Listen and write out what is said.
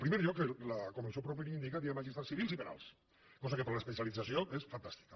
en primer lloc com el seu propi nom indica hi ha magistrats civils i penals cosa que per a l’especialització és fantàstica